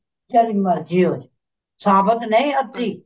ਜਿਹੜੀ ਮਰਜ਼ੀ ਹੋਵੇ ਸਾਬਤ ਨੀ ਅੱਧੀ